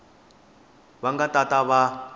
va nga ta va va